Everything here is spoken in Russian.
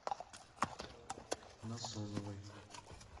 насоновой